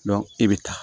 e bɛ taa